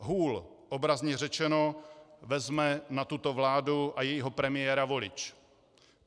Hůl - obrazně řečeno - vezme na tuto vládu a jejího premiéra volič.